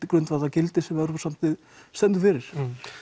grundvallargildi sem Evrópusambandið stendur fyrir